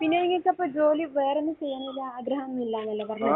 പിന്നെ ഈ ഇത് ഇപ്പോൾ ജോലി വേറെ ഒന്നും ചെയ്യാനുള്ള ആഗ്രഹമൊന്നും ഇല്ല എന്നല്ലെ പറഞ്ഞത്.